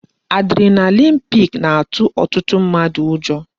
Adrenaline peak na-atụ ọtụtụ mmadụ ụjọ